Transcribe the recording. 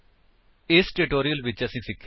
ਇਸ ਟਿਊਟੋਰਿਅਲ ਵਿੱਚ ਅਸੀਂ ਸਿੱਖਿਆ